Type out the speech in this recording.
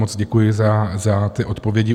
Moc děkuji za ty odpovědi.